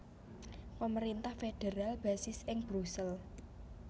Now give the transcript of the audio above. Pemerintah federal basis ing Brusel